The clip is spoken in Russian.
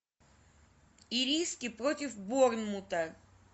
ириски против борнмута